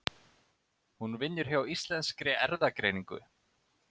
Hún vinnur hjá Íslenskri erfðagreiningu.